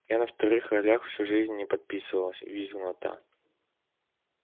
я на вторых ролях всю жизнь не подписывалась визгнула та